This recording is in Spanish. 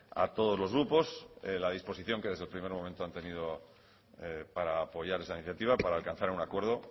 a todos los grupos la disposición que desde el primer momento han tenido para apoyar esa iniciativa para alcanzar un acuerdo